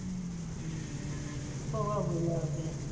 તો ભાઈ મજા આવતી.